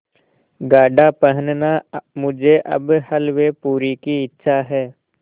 गाढ़ा पहनना मुझे अब हल्वेपूरी की इच्छा है